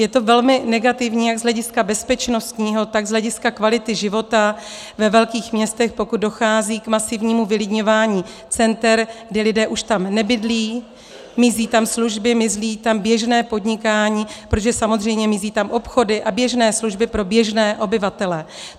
Je to velmi negativní jak z hlediska bezpečnostního, tak z hlediska kvality života ve velkých městech, pokud dochází k masivnímu vylidňování center, kdy lidé už tam nebydlí, mizí tam služby, mizí tam běžné podnikání, protože samozřejmě mizí tam obchody a běžné služby pro běžné obyvatele.